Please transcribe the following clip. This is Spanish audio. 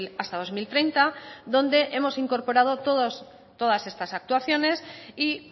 hasta dos mil treinta donde hemos incorporado todas estas actuaciones y